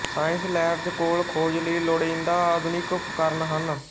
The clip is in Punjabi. ਸਾਇੰਸ ਲੈਬਜ਼ ਕੋਲ ਖੋਜ ਲਈ ਲੋੜੀਂਦਾ ਆਧੁਨਿਕ ਉਪਕਰਣ ਹਨ